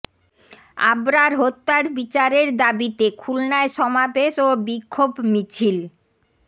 আবরার হত্যার বিচারের দাবিতে খুলনায় সমাবেশ ও বিক্ষোভ মিছিল